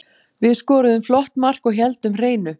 Við skoruðum flott mark og héldum hreinu.